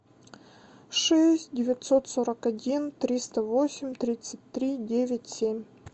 шесть девятьсот сорок один триста восемь тридцать три девять семь